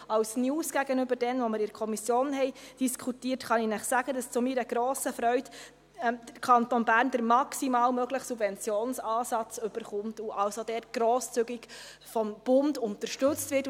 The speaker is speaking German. Als News, gegenüber der Diskussion in der Kommission, kann ich Ihnen sagen, dass zu meiner grossen Freude der Kanton Bern den maximal möglichen Subventionsansatz erhält und dort grosszügig vom Bund unterstützt wird.